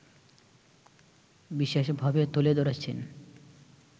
বিশেষ ভাবে তুলে ধরেছেন